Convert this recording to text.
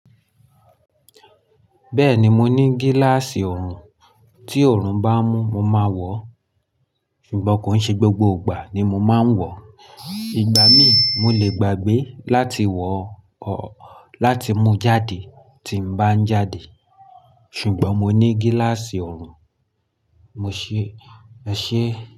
Bẹ́ẹ̀ni, mo ní gíláàsì ọrùn, tí ọrùn bá mú, mo máa wọ̀, ṣùgbọ́n kò ní ṣe gbogbo ìgbà ni mo máa ń wọ̀. Ìgbà míì, mo lè gbàgbé láti wo, or mú jáde tí mo bá ń jáde. Ṣùgbọ́n mo ní gíláàsì ọrùn, mo ṣé, ẹ ṣé?